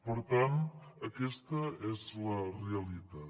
per tant aquesta és la realitat